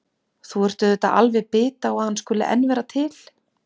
Þú ert auðvitað alveg bit á að hann skuli enn vera til.